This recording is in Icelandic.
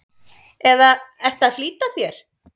eða ertu að flýta þér?